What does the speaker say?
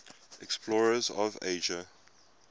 explorers of asia